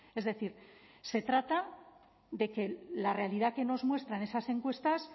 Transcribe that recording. es decir se trata de que la realidad que nos muestran esas encuestas